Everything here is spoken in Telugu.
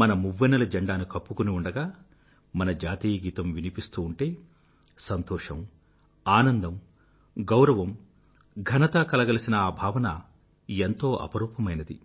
మన మువ్వన్నెల జండాను కప్పుకుని ఉండగా మన జాతీయ గీతం వినిపిస్తూ ఉంటే సంతోషం ఆనందం గౌరవం ఘనత కలగలిసిన ఆ భావన ఎంతో అపురూపమైనది